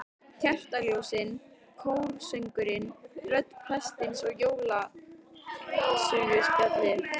Kertaljósin, kórsöngurinn, rödd prestsins og jólaguðspjallið.